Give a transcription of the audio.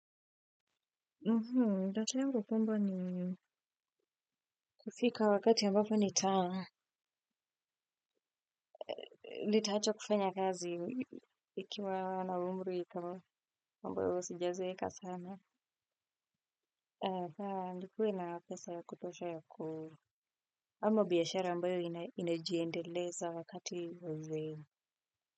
Ndoto yangu kumbwa ni kufika wakati ambapo ni ta. Nitaacha kufanya kazi ikiwa na umri kama ambayo sijazeeka sana. Nikuwe na pesa ya kutosha ya ku. Ama biashara ambayo inajiendeleza wakati wa uzeyo.